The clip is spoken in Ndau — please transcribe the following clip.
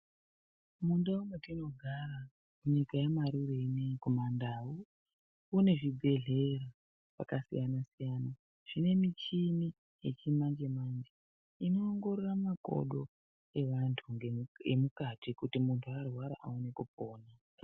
Mundau mwetinogara nyika yaMarure ineyi kumandau kune zvibhehlera zvakasiyana -siyana zvine michini yechimanje manje inoongorora makodo evantu emukati kuti muntu arwara aone kupona.